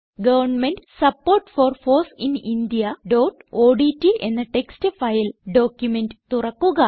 government support for foss in indiaഓഡ്റ്റ് എന്ന text file document തുറക്കുക